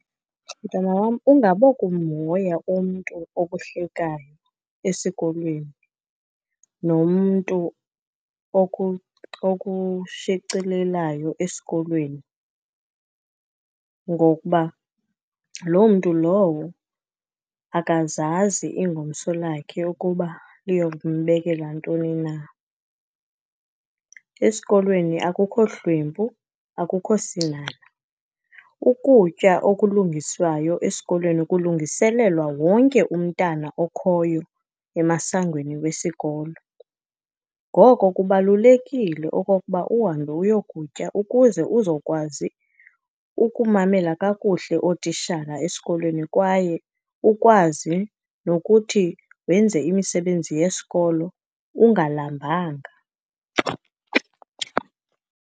Mntwana wam, ungabokumhoya umntu okuhlekayo esikolweni, nomntu okushicilelayo esikolweni, ngokuba loo mntu lowo akazazi ingomso lakhe ukuba liyokumbekela ntoni na. Esikolweni akukho hlwempu, akukho sinhanha. Ukutya okulungiswayo esikolweni kulungiselelwa wonke umntana okhoyo emasangweni wesikolo. Ngoko kubalulekile okokuba uhambe uyokutya, ukuze uzokwazi ukumamela kakuhle ootishala esikolweni, kwaye ukwazi nokuthi wenze imisebenzi yesikolo ungalambanga.